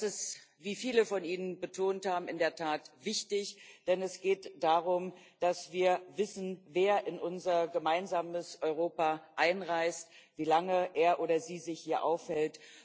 Das ist, wie viele von Ihnen betont haben, in der Tat wichtig, denn es geht darum, dass wir wissen, wer in unser gemeinsames Europa einreist, wie lange er oder sie sich hier aufhält.